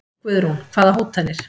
Guðrún: Hvaða hótanir?